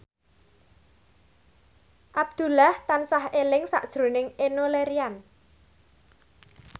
Abdullah tansah eling sakjroning Enno Lerian